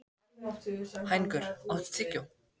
Hængur, áttu tyggjó?